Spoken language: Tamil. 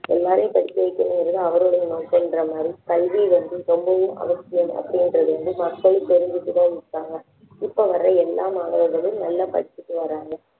எல்லாரையும் படிக்க வைக்கணுங்கிறது அவருடைய நோக்கம்ன்ற மாதிரி கல்வி வந்து ரொம்பவும் அவசியம் அப்படிங்கறது வந்து மக்களும் தெரிஞ்சுகிட்டு தான் இருக்காங்க இப்போ வரை எல்லா மாணவர்களும் நல்லா படிச்சிட்டு வர்றாங்க